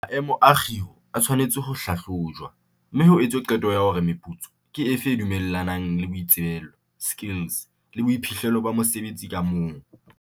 Maemo a kgiro a tshwanetse ho hlahlojwa, mme ho etswe qeto hore meputso ke efe e dumellanang le boitsebelo, skills, le boiphihlelo ba mosebeletsi ka mong.